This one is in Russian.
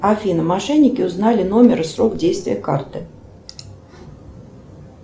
афина мошенники узнали номер и срок действия карты